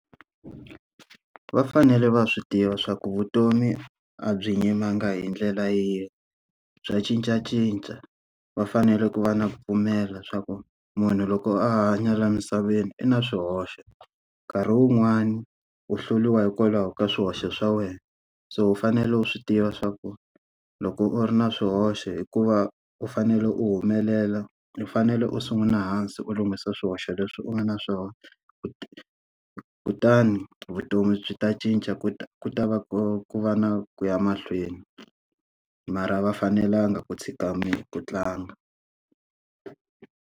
Va fanele va swi tiva swa ku vutomi a byi yimanga hi ndlela yin'we, bya cincacinca. Va fanele ku va na ku pfumela swa ku munhu loko a hanya laha emisaveni i na swihoxo, nkarhi wun'wani u hluriwa hikwalaho ka swihoxo swa wena. So u fanele u swi tiva swa ku loko u ri na swihoxo hikuva u fanele u humelela u fanele u sungula hansi u lunghisa swihoxo leswi u nga na swona, kutani vutomi byi ta cinca ku ta ku ta va ku ku va na ku ya mahlweni. Mara a va fanelanga ku tshika ku tlanga.